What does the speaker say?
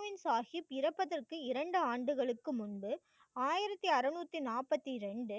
ஹல்கோவின் சாகிப் இறப்பதற்கு இரண்டு ஆண்டுகளுக்கு முன்பு, ஆயிரத்தி அறநூத்தி நாற்பத்தி இரண்டு,